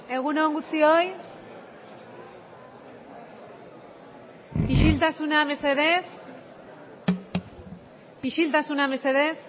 egun on guztioi isiltasuna mesedez